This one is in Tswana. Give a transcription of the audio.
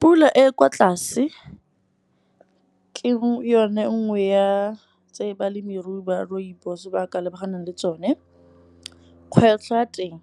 Pula e e kwa tlase ke yone nngwe ya tse balemirui ba rooibos ba ka lebaganeng le tsone. Kgwetlho ya teng,